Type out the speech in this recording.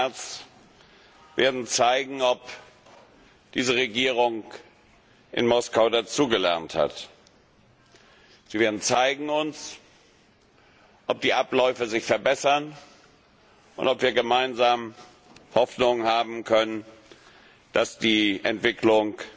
4. März werden zeigen, ob diese Regierung in Moskau dazugelernt hat. Sie werden uns zeigen, ob die Abläufe sich verbessern und ob wir gemeinsam Hoffnung haben können, dass die Entwicklung